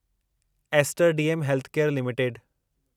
ester DM healthcare limited